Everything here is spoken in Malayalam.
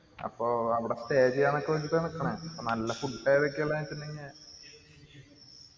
അപ്പോ അവിടെ stay ചെയ്യാന്നൊക്കെ വെച്ചിട്ടാ നിക്കണ അപ്പോ നല്ല food ഏതൊക്കെയാ